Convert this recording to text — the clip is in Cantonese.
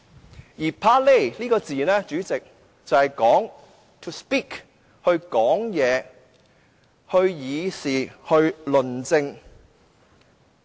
主席 ，"parler" 這個字的意思是說話、議事、論政。